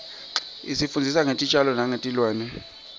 isifundzisa ngetitjalo nengetilwane